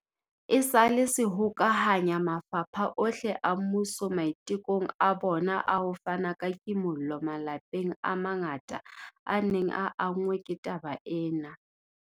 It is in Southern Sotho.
Esale se hokahanya mafapha ohle a mmuso maitekong a bona a ho fana ka kimollo malapeng a mangata a neng a anngwe ke taba ena.